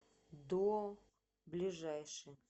дуо ближайший